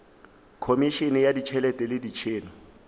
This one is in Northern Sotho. khomišene ya ditšhelete le metšhelo